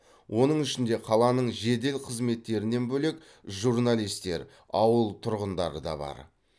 оның ішінде қаланың жедел қызметтерінен бөлек журналистер ауыл тұрғындары да бар